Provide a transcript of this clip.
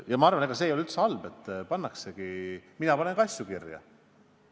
Ja ma arvan, et ega see ei ole üldse halb, et pannakse asju kirja.